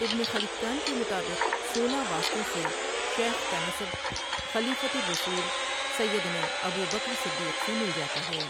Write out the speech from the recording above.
ابن خلکان کے مطابق سولہ واسطوں سے شیخ کا نسب خلیفۃ الرسول سیدنا ابو بکر صدیق سے مل جاتا ہے ۔